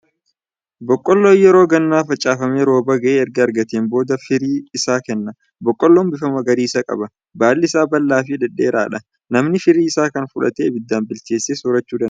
Boqqolloon yeroo gannaa facaafame, rooba ga'aa erga argateen booda firii isaa kenna. Boqqoloon bifa magariisa qaba. Baalli isaa bal'aa fi dhedheerqadha. Namni firii isaa kan fudhatee ibiddaan bilcheessee soorachuu danda'a.